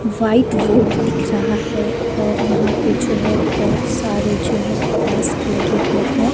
White ward दिख रहा हैऔर यहाँ पे जो है बहुत सारे जो है डेस्क लगे हुए हैं।